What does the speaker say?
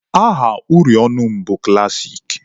Aha uri ọnụ m bụ klassik.